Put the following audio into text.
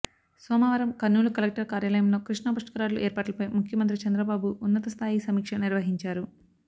సోమవారం కర్నూలు కలెక్టర్ కార్యాలయంలో కృష్ణా పుష్కరాల ఏర్పాట్లపై ముఖ్యమంత్రి చంద్రబాబు ఉన్నతస్థాయి సమీక్ష నిర్వహించారు